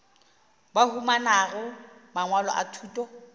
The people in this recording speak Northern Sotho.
ba humanago mangwalo a thuto